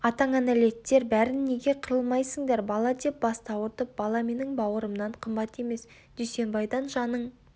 атаңанәлеттер бәрін неге қырылмайсыңдар бала деп басты ауыртып бала менің бауырымнан қымбат емес дүйсенбайдан жаның